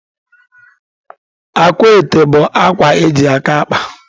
Akwaete bụ akwa eji aka akpa.